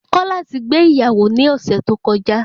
Kọ́lá ti gbé ìyàwó ní ọ̀sẹ̀ tó kọjá